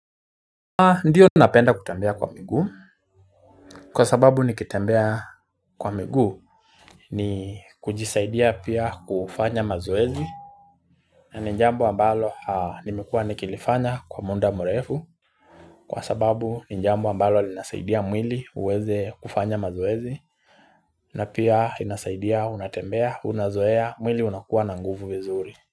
Ndiyo napenda kutembea kwa miguu, kwa sababu nikitembea kwa miguu ni kujisaidia pia kufanya mazoezi na ni jambo ambalo nimekuwa nikilifanya kwa muda mrefu Kwa sababu ni jambo ambalo linasaidia mwili uweze kufanya mazoezi na pia inasaidia unatembea unazoea mwili unakuwa na nguvu vizuri.